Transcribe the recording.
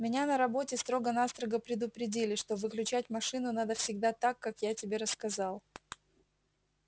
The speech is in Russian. меня на работе строго-настрого предупредили что выключать машину надо всегда так как я тебе рассказал